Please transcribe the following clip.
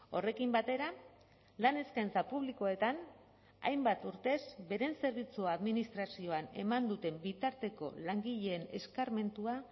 horrekin batera lan eskaintza publikoetan hainbat urtez beren zerbitzua administrazioan eman duten bitarteko langileen eskarmentua